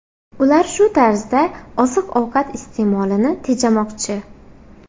Ular shu tarzda oziq-ovqat iste’molini tejamoqchi.